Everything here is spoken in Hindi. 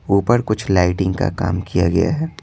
ऊपर कुछ लाइटिंग का काम किया गया है।